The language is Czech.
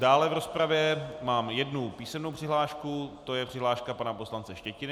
Dále v rozpravě mám jednu písemnou přihlášku, to je přihláška pana poslance Štětiny.